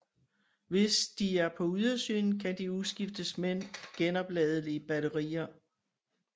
Hvis de er på ydersiden kan de udskiftes med genopladelige batterier